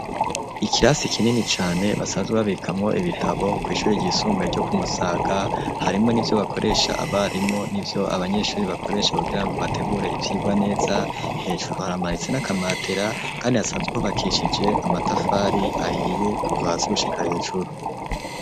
Ikirasi kinini cane, basanzwe babikamwo ibitabo kw'ishuri ryisumbuye ryo ku Musaga, harimwo n'ivyo bakoresha abarimu n'ivyo abanyeshuri bakoresha, kugira ngo bategure ivyigwa neza, hejuru haramanitse n'akamatera, kandi hasanzwe hubakishije amatafari ahiye kuva hasi gushika hejuru.